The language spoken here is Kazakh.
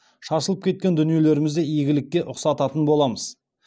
шашылып кеткен дүниелерімізді игілікке ұқсататын боламыз